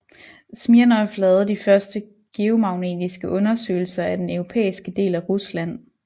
Smirnov lavede de første geomagnetiske undersøgelser af den europæiske del af Rusland